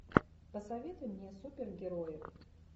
посоветуй мне супергерои